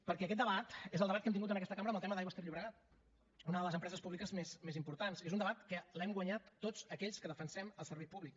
perquè aquest debat és el debat que hem tingut en aquesta cambra amb el tema d’aigües ter llobregat una de les empreses públiques més importants és un debat que l’hem guanyat tots aquells que defensem el servei públic